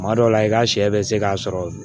Kuma dɔ la i ka sɛ bɛ se k'a sɔrɔ